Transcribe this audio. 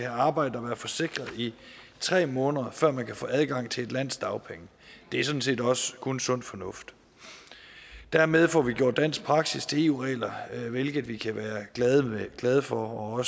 arbejdet og været forsikret i tre måneder før man kan få adgang til et lands dagpenge det er sådan set også kun sund fornuft dermed får vi gjort dansk praksis til eu regler hvilket vi kan være glade for og